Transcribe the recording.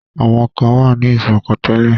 Àwọn kan wà ní ìṣọ̀kan tẹ́lẹ̀.